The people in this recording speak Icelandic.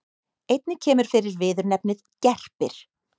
Einnig kemur fyrir viðurnefnið gerpir.